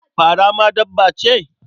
Fara ma dabba ce?